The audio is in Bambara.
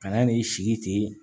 Kana n'i sigi ten